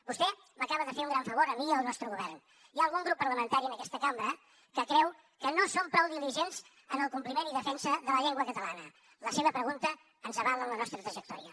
vostè m’acaba de fer un gran favor a mi i al nostre govern hi ha algun grup parlamentari en aquesta cambra que creu que no som prou diligents en el compliment i defensa de la llengua catalana la seva pregunta ens avala en la nostra trajectòria